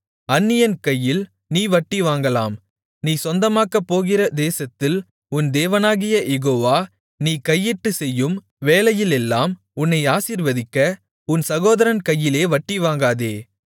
அந்நியன் கையில் நீ வட்டிவாங்கலாம் நீ சொந்தமாக்கப்போகிற தேசத்தில் உன் தேவனாகிய யெகோவா நீ கையிட்டுச்செய்யும் வேலையிலெல்லாம் உன்னை ஆசீர்வதிக்க உன் சகோதரன் கையிலே வட்டிவாங்காதே